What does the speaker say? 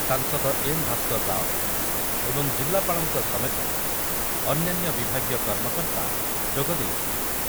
ସାଂସଦ ଏନ୍ ଭାସ୍କର ରାଓ ଏବଂ ଜିଲ୍ଲାପାଳଙ୍କ ସମେତ ଅନ୍ୟାନ୍ୟ ବିଭାଗୀୟ କର୍ମକର୍ତ୍ତା ଯୋଗଦେଇଥିଲେ ।